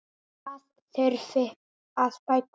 Það þurfi að bæta.